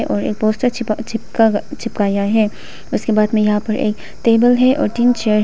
और एक पोस्टर चिपकाया हैं उसके बाद में यहां पे एक टेबल हैं तीन चेयर --